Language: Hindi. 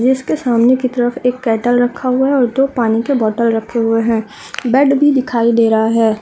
जिसके सामने की तरफ एक केटल रक्खा हुआ है और दो पानी के बॉटल रक्खे हुए है बेड भी दिखाई दे रहा है।